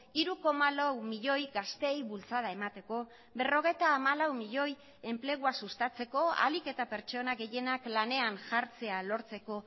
hiru koma lau milioi gazteei bultzada emateko berrogeita hamalau milioi enplegua sustatzeko ahalik eta pertsona gehienak lanean jartzea lortzeko